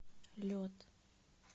лед